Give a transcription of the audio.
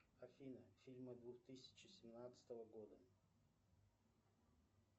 афина фильмы двух тысячи семнадцатого года